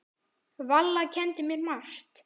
Valla kenndi mér margt.